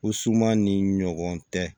Ko suman ni ɲɔgɔn tɛ